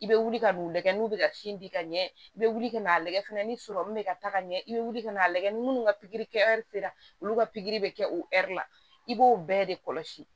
I bɛ wuli ka n'u lajɛ n'u bɛ ka sin di ka ɲɛ i bɛ wuli ka n'a lagɛ fɛnɛ ni sɔrɔmu bɛ ka taa ka ɲɛ i bɛ wuli ka n'a lagɛ ni minnu ka pikiri kɛ la olu ka pikiri bɛ kɛ o la i b'o bɛɛ de kɔlɔsi